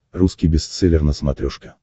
русский бестселлер на смотрешке